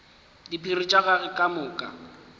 diphiri tša gagwe ka moka